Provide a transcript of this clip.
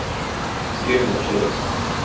с кем не общается